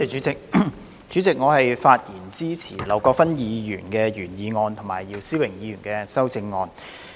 主席，我發言支持劉國勳議員的原議案及姚思榮議員的修正案。